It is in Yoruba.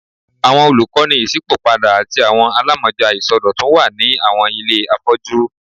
Awọn olukọni iṣipopada ati awọn alamọja isọdọtun wa ni awọn ile afọju